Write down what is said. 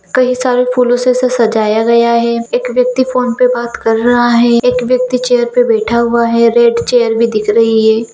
कहीं सारे फूलों से इसे सजाया गया है एक व्यक्ति फोन पे बात कर रहा है एक व्यक्ति चेयर पे बैठा हुआ है रेड चेयर भी दिख रही है।